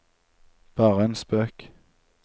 bare en spøk